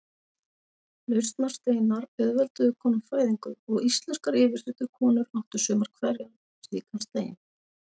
Lausnarsteinar auðvelduðu konum fæðingu og íslenskar yfirsetukonur áttu sumar hverjar slíkan stein.